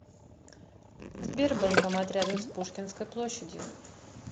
сбер банкомат рядом с пушкинской площадью